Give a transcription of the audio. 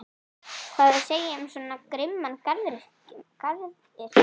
Hvað á að segja um svo grimman garðyrkjumann?